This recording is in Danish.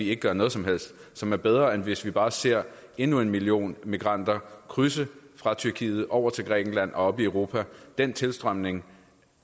ikke gør noget som helst og som er bedre end hvis man bare ser endnu en million migranter krydse fra tyrkiet over til grækenland og op i europa den tilstrømning